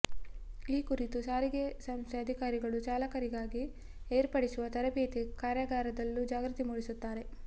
ಈ ಕುರಿತು ಸಾರಿಗೆ ಸಂಸ್ಥೆ ಅಧಿಕಾರಿಗಳು ಚಾಲಕರಿಗಾಗಿ ಏರ್ಪಡಿಸುವ ತರಬೇತಿ ಕಾರ್ಯಾಗಾರದಲ್ಲೂ ಜಾಗೃತಿ ಮೂಡಿಸುತ್ತಾರೆ